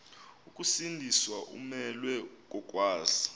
ukusindiswa umelwe kokwazi